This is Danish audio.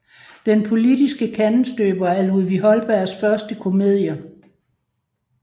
Den Politiske Kandestøber er Ludvig Holbergs første komedie